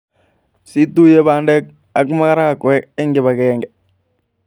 Situiye pandek ak marakwek eng kipakenge